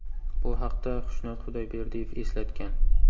Bu haqda Xushnud Xudoyberdiyev eslatgan .